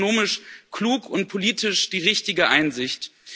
Es ist ökonomisch klug und politisch die richtige Einsicht.